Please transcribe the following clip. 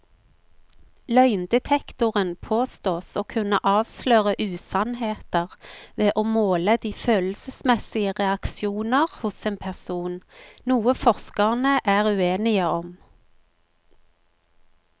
Løgndetektoren påstås å kunne avsløre usannheter ved å måle de følelsesmessige reaksjoner hos en person, noe forskerne er uenige om.